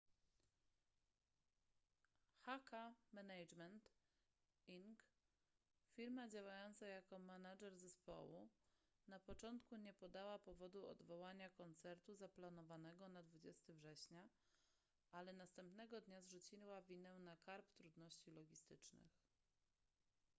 hk management inc firma działająca jako manager zespołu na początku nie podała powodu odwołania koncertu zaplanowanego na 20 września ale następnego dnia zrzuciła winę na karb trudności logistycznych